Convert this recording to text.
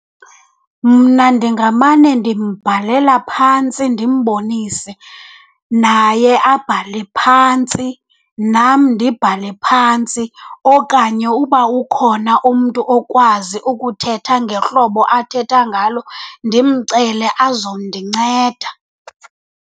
Mna ndingamane ndimbhalela phantsi ndimbonise, naye abhale phantsi nam ndibhale phantsi. Okanye uba ukhona umntu okwazi ukuthetha ngehlobo athetha ngalo ndimcele azondinceda.